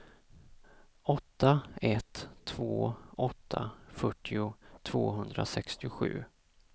åtta ett två åtta fyrtio tvåhundrasextiosju